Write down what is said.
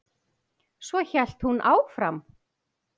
Svo hélt hún áfram: